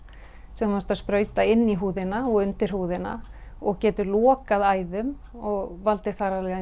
sem þú ert að sprauta inn í húðina og undir húðina og getur lokað æðum og valdið